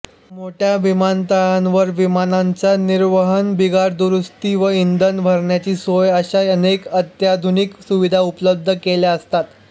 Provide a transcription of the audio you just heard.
मोठ्या विमानतळांवर विमानांच्या निर्वहनबिघाडदुरुस्ती व इंधन भरण्याची सोय अशा अनेक अत्याधुनिक सुविधा उपलब्ध केलेल्या असतात